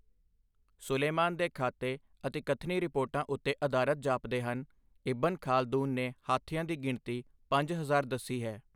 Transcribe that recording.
ਸੁਲੇਮਾਨ ਦੇ ਖਾਤੇ ਅਤਿਕਥਨੀ ਰਿਪੋਰਟਾਂ ਉੱਤੇ ਅਧਾਰਤ ਜਾਪਦੇ ਹਨ ਇਬਨ ਖਾਲਦੂਨ ਨੇ ਹਾਥੀਆਂ ਦੀ ਗਿਣਤੀ ਪੰਜ ਹਜ਼ਾਰ ਦੱਸੀ ਹੈ।